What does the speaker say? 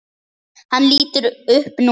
Hann lítur upp núna.